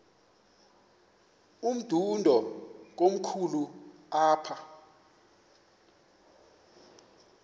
umdudo komkhulu apha